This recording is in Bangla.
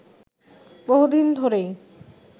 বহুদিন ধরেই